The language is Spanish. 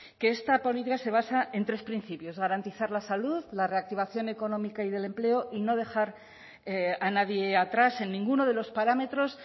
que esta política se basa en tres principios garantizar la salud la reactivación económica y del empleo y no dejar a nadie atrás en ninguno de los parámetros